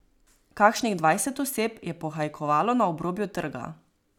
Kakšnih dvajset oseb je pohajkovalo na obrobju trga.